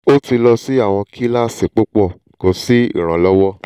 o ti lọ si awọn kilasi pupọ ko si iranlọwọ